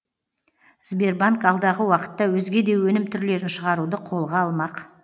сбербанк алдағы уақытта өзге де өнім түрлерін шығаруды қолға алмақ